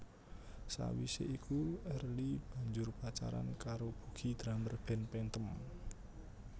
Sawise iku Early banjur pacaran karo Bugi drummer band Phantom